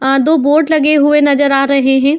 अ दो बोट लगे हुए नजर आ रहे हैं।